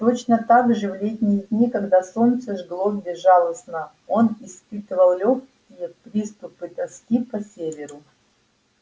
точно так же в летние дни когда солнце жгло безжалостно он испытывал лёгкие приступы тоски по северу